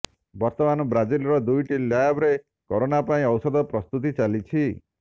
ବର୍ତ୍ତମାନ ବ୍ରାଜିଲର ଦୁଇଟି ଲ୍ୟାବ୍ରେ କରୋନା ପାଇଁ ଔଷଧ ପ୍ରସ୍ତୁତି ଚାଲିଛି